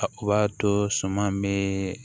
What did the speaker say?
O b'a to suman me